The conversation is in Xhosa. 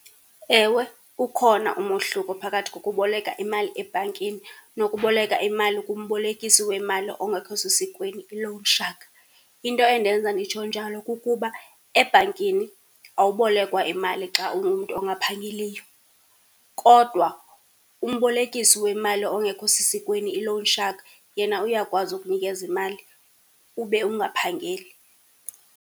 Ewe, ukhona umohluko phakathi kokuboleka imali ebhankini nokuboleka imali kumbolekisi wemali ongekho sesikweni, i-loan shark. Into endenza nditsho njalo kukuba ebhankini awubolekwa imali xa ungumntu ongaphangeliyo kodwa umbolekisi wemali ongekho sesikweni, i-loan shark, yena uyakwazi ukunikeza imali ube ungaphangeli.